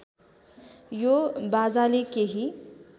यो बाजाले केही